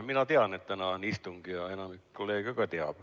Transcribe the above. Mina tean, et täna on istung, ja enamik kolleege teab seda.